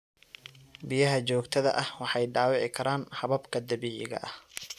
Biyaha joogtada ah waxay dhaawici karaan hababka dabiiciga ah.